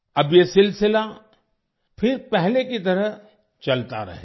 अब ये सिलसिला फिर पहले की तरह चलता रहेगा